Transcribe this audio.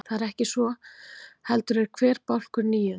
Það er ekki svo, heldur er hver bálkur níund.